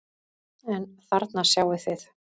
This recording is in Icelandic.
En þarna sjáið þið!